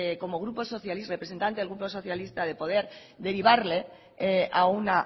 como representante del grupo socialista de poder derivarle a un